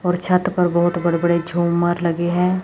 और छत पर बहोत बड़े बड़े झूमर लगे हैं।